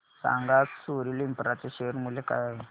सांगा आज Soril infra share चे मूल्य काय आहे